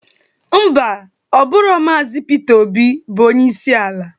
Ḿbà, Ọ bụrọ Maazi Pita Obi bụ onyeisi ala.